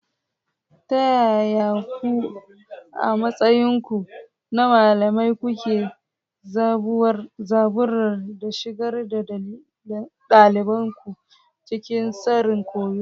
Ta yaya ku, a matsayinku na malamai, kuke zaburarwa da shigar da ɗaliban ku cikin tsarin koyo?